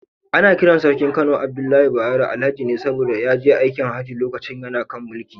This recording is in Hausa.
Ana kiran Sarkin Kano Abdullahi Bayero, Alhaji ne saboda ya je aikin Hajji lokacin yana kan mulki.